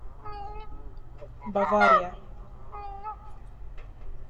бавария